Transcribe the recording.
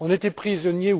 Nous étions prisonniers,